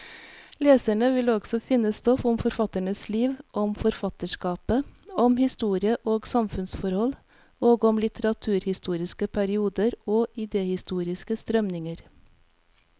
Leserne vil også finne stoff om forfatternes liv, om forfatterskapet, om historie og samfunnsforhold, og om litteraturhistoriske perioder og idehistoriske strømninger.